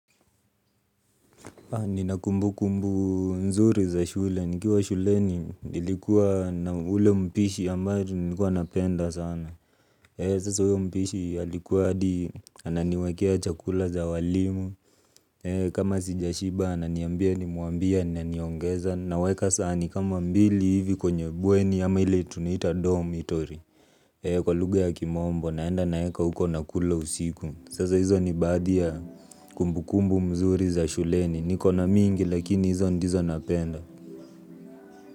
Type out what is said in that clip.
Nina kumbukumbu nzuri za shule. Nikiwa shuleni nilikuwa na ule mpishi ambaye tu nilikuwa napenda sana. Sasa huyo mpishi alikuwa hadi ananiwekea chakula za walimu. Kama sijashiba ananiambia nimwambie ananiongeza. Naweka sahani kama mbili hivi kwenye bweni ama ile tunaita dormitory kwa lugha ya kimwombo naenda naeka huko nakula usiku. Sasa hizo ni baadhi ya kumbukumbu mzuri za shuleni, nikona mingi lakini hizo ndizo napenda.